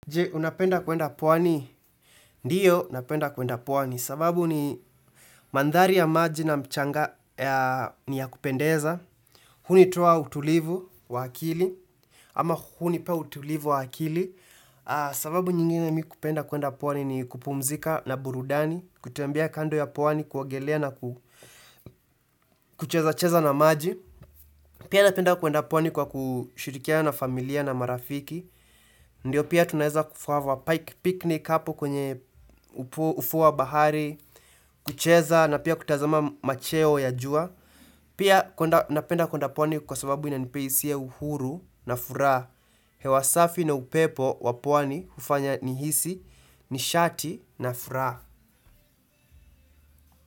Je, unapenda kuenda pwani? Ndiyo, unapenda kuenda pwani. Sababu ni mandhari ya maji na mchanga ni ya kupendeza. Hunitoa utulivu wa akili. Ama hunipa utulivu wa akili. Sababu nyingine mi kupenda kuenda pwani ni kupumzika na burudani. Kutembea kando ya pwani, kuogelea na kuchezacheza na maji. Pia napenda kuenda pwani kwa kushirikiana na familia na marafiki. Ndio pia tunaweza kuhave a picnic hapo kwenye ufuo wa bahari, kucheza na pia kutazama macheo ya jua. Pia napenda kuenda pwani kwa sababu inanipea hisia ya uhuru na furaha. Hewa safi na upepo wa pwani hufanya nihisi, nishati na furaha.